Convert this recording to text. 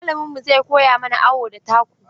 Malaminmu zai koya mana awo da taku.